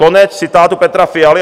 Konec citátu Petra Fialy.